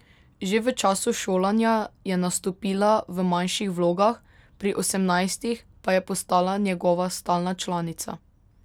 Že v času šolanja je nastopila v manjših vlogah, pri osemnajstih pa je postala njegova stalna članica.